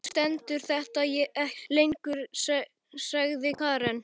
Vonandi stendur þetta ekki lengi, sagði Karen.